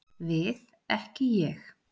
Við ekki Ég.